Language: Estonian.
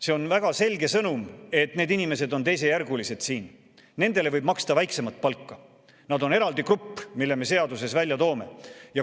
See on väga selge sõnum, et need inimesed on siin teisejärgulised, nendele võib maksta väiksemat palka, nad on eraldi grupp, mille me seaduses välja toome.